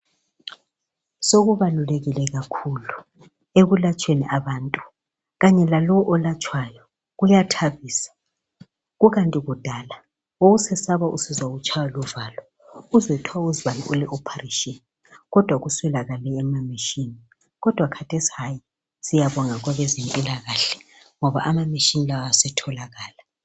Sokubalulekile kakhulu ekulatsheni kwabantu, kanye lalo olatshwayo kuyathabisa. Kukanti kudala wawusesaba usizwa utshayiwa luvalo uzwe kuthiwa uzibani ule 'operation ' kodwa kuswelakale imali yemeshini. Kodwa kathesi hayi siyabonga kwabe zemphilakahle ngoba amameshini lawa setholakala.